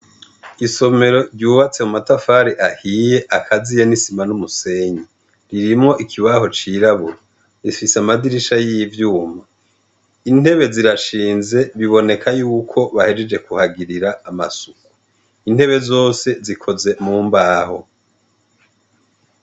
Isomero ryubatse mu matafari ahiye akaziya nisima n'umusenyi ririmwo ikibaho cirabura rifise amadirisha y'ivyuma intebe zirashinze biboneka yuko bahejeje kuhagirira amasuku intebe zose zikoze mu mbaho.